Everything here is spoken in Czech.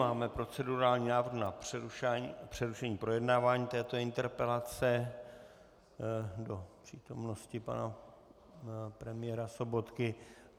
Máme procedurální návrh na přerušení projednávání této interpelace do přítomnosti pana premiéra Sobotky.